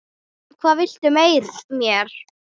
Hvað viltu mér?